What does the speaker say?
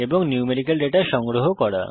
এবং numerical data কিভাবে সংগ্রহ করে